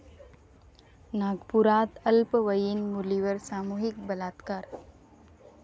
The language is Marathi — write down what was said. नागपुरात अल्पवयीन मुलीवर सामूहिक बलात्कार